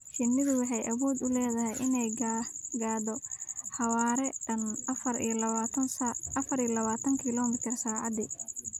Shinnidu waxay awood u leedahay inay gaadho xawaare dhan afar iyo labaatan kiiloomitir saacaddii.